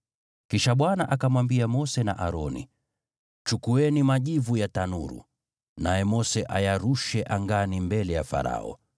Kisha Bwana akamwambia Mose na Aroni, “Chukueni majivu ya tanuru, naye Mose ayarushe angani mbele ya Farao.